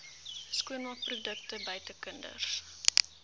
skoonmaakprodukte buite kinders